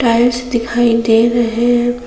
Tiles दिखाई दे रहे हैं।